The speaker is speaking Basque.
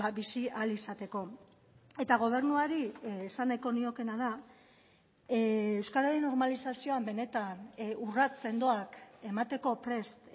bizi ahal izateko eta gobernuari esan nahiko niokeena da euskararen normalizazioan benetan urrats sendoak emateko prest